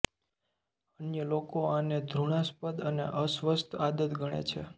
અન્ય લોકો આને ધૃણાસ્પદ અને અસ્વસ્થ આદત ગણે છે